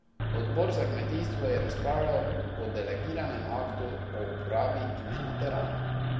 Odbor za kmetijstvo je razpravljal o delegiranem aktu o uporabi imena teran.